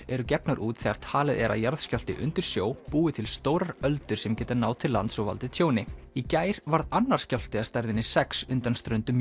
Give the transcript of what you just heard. eru gefnar út þegar talið er að jarðskjálfti undir sjó búi til stórar öldur sem geta náð til lands og valdið tjóni í gær varð annar skjálfti af stærðinni sex undan ströndum